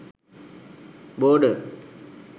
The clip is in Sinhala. border